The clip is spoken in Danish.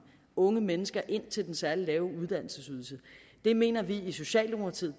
unge mennesker ind til den særligt lave uddannelsesydelse det mener vi i socialdemokratiet